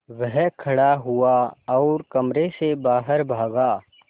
वह खड़ा हुआ और कमरे से बाहर भागा